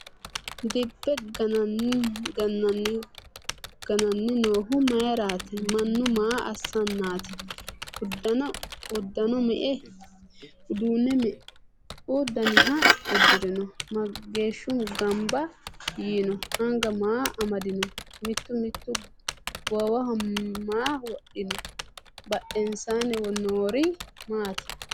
Dibbe gananni noohu mayiiratti? Mannu maa assannatti? uduunne meu danniha udirinno? Mageeshihu ganbba yiinno? anga maa amadinno? Mitu mitu goowaho maa wodhinno? Badheennsaanni noori maatti?